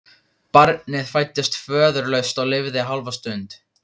Barnið fæddist föðurlaust og lifði hálfa stund.